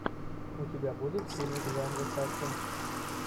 у тебя будет фильм в жанре саспенс